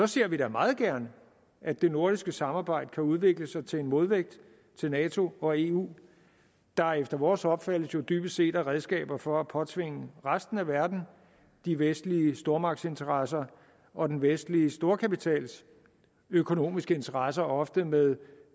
ser vi da meget gerne at det nordiske samarbejde kan udvikle sig til en modvægt til nato og eu der efter vores opfattelse jo dybest set er redskaber for at påtvinge resten af verden de vestlige stormagtsinteresser og den vestlige storkapitals økonomiske interesser ofte med